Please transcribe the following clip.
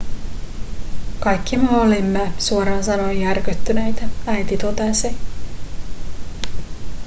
kaikki me olimme suoraan sanoen järkyttyneitä äiti totesi